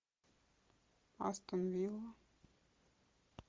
астон вилла